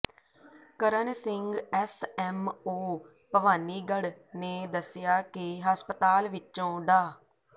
ਕਰਨ Singh S M O Bhawanigarh ਨੇ ਦੱਸਿਆ ਕਿ ਹਸਪਤਾਲ ਵਿਚੋਂ ਡਾ